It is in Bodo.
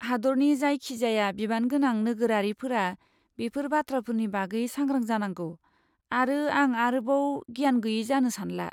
हादोरनि जायखिजाया बिबानगोनां नोगोरारिफोरा बेफोर बाथ्राफोरनि बागै सांग्रां जानांगौ, आरो आं आरोबाव गियान गैयै जानो सानला।